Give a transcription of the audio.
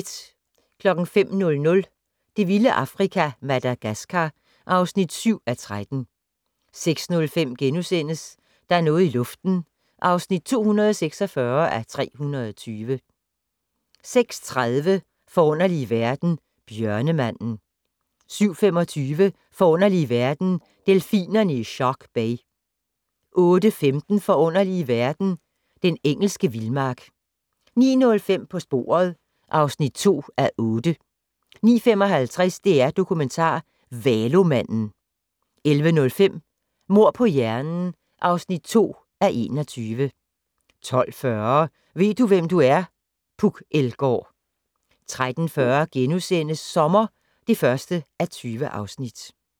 05:00: Det vilde Afrika - Madagascar (7:13) 06:05: Der er noget i luften (246:320)* 06:30: Forunderlige verden - Bjørnemanden 07:25: Forunderlige verden - Delfinerne i Shark Bay 08:15: Forunderlige verden - Den engelske vildmark 09:05: På sporet (2:8) 09:55: DR-Dokumentar - Valomanden 11:00: Mord på hjernen (2:21) 12:40: Ved du, hvem du er? - Puk Elgård 13:40: Sommer (1:20)*